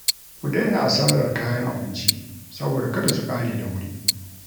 Ku daina asarar kayan abinci saboda kada su ƙare da wuri